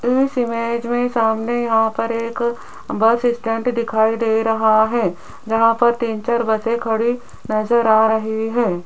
इस इमेज में सामने आकर एक बस स्टैंड दिखाई दे रहा है जहां पर तीन चार बसें खड़ी नजर आ रही है।